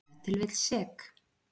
Ef til vill sek.